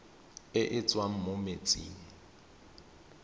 e e tswang mo metsing